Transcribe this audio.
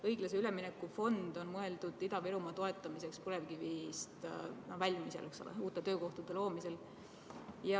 Õiglase ülemineku fond on mõeldud Ida-Virumaa toetamiseks põlevkivienergeetikast väljumisel, uute töökohtade loomisel.